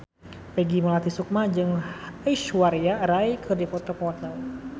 Peggy Melati Sukma jeung Aishwarya Rai keur dipoto ku wartawan